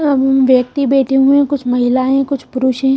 अं व्यक्ति बैठे हुए हैं कुछ महिलाएं कुछ पुरुष हैं।